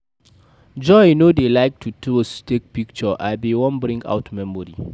Joy no dey like to pose take picture, I bin wan bring out memory